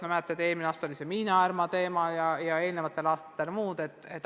Ma mäletan, et eelmisel aastal oli päevakorral Miina Härma juhtum, varasematel aastatel on olnud muud.